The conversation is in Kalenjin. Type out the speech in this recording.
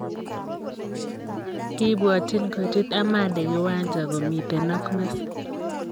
Kibwatyin kochut Ahmadi kiwanja komitei ak Messi.